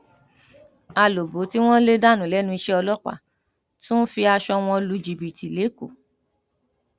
alòbó tí wọn lè dànù lẹnu iṣẹ ọlọpàá tún ń fi aṣọ wọn lu jìbìtì lẹkọọ